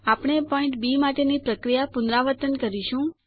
આપણે point B માટેની પ્રક્રિયા પુનરાવર્તન કરીશું